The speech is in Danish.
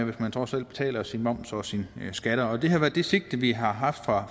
hvis man trods alt betaler sin moms og sine skatter det har været det sigte vi har haft fra